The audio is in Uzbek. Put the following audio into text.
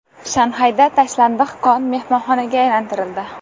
Shanxayda tashlandiq kon mehmonxonaga aylantirildi .